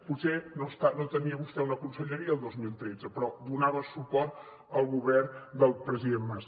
potser no tenia vostè una conselleria el dos mil tretze però donava suport al govern del president mas